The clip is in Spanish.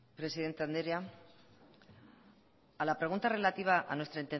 presidente andrea a la pregunta relativa a nuestra